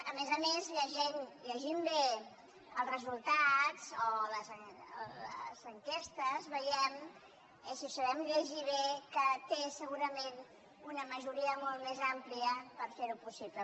a més a més llegint bé els resultats o les enquestes veiem si ho sabem llegir bé que té segurament una majoria molt més àmplia per fer ho possible